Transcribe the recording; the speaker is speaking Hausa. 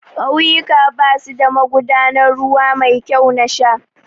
Ƙauyuka basu da magudanan ruwa mai kyau na sha